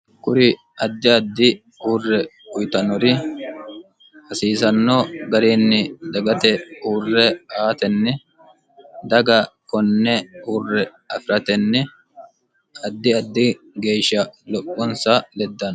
kuri addi addi hurre uyitannori hasiisanno gariinni dagate hurre aatenni daga konne uurre afiratenni addi addi geeshsha lo'ponsa leddano